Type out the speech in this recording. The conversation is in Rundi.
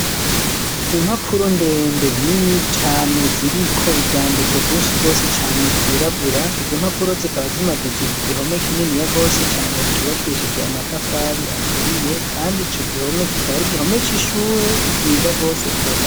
Impapuro ndende nini cane ziriko ivyandiko vyinshi bose cane vyirabura izo mpapuro zikaba zimaditse ku gihome k'inini ya gose cane cubakishije amatafari aturiye kandi ico gihome kikaba ari gihome c'ishure ryiza rwose.